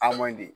A man ɲi